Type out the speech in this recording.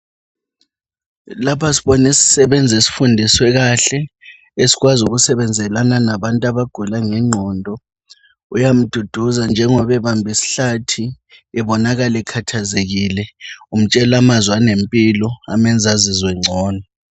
Lapha sibona isisebenzi esifundiswe kahle esikwazi ukusebenzelana labantu abagula ngengqondo uyamduduza njengoba ebambe isihlathi ebonakala ekhathazekile umtshela amazwi anempilo amenza azizwe ngcono.